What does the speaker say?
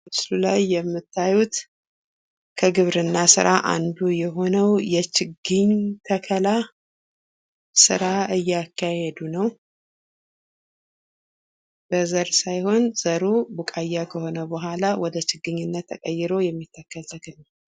በምስሉ ላይ የምታዩት ከግብርና ስራ አንዱ የሆነው ችግኝ ተከላ ስራ እያካሄዱ ነው። በዘር ሳይሆን ዘሩ ቡቃያ ከሆነ በኋላ ወደ ችግኝነት ተቀይሮ የሚተከል ተክል ነው።